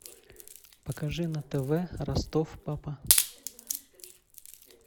покажи на тв ростов папа